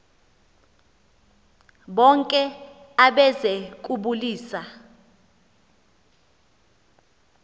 bonke abeze kubulisa